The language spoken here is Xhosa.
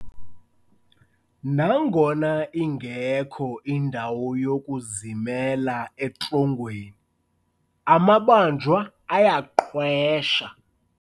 Nangona ingekho indawo yokuzimela etrongweni, amabanjwa ayaqwesha.